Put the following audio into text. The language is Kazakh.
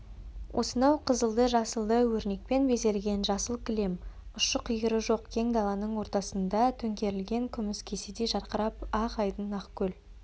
осынау қызылды-жасылды өрнекпен безелген жасыл кілем ұшы-қиыры жоқ кең даланың ортасында төңкерілген күміс кеседей жарқырап ақ айдын ақкөл